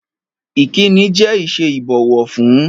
Ìkínni jẹ́ ìṣe ìbọ̀wọ̀ fún.